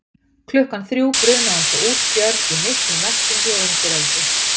Klukkan þrjú brunaði hún svo út fjörð í miklum veltingi og undiröldu.